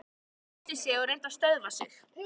Hún ræskti sig og reyndi að stöðva tárin.